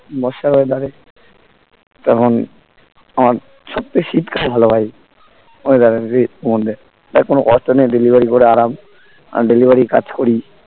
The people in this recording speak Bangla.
বর্ষাকালে তখন আমার সবথেকে শীতকাল ভালো ভাই weather এর মধ্যে তখন কোনো কষ্ট নেই delivery করে আরাম delivery এর কাজ করি